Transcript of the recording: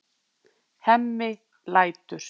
Hemmi lætur.